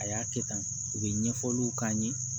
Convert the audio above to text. A y'a kɛ tan u bɛ ɲɛfɔliw k'an ye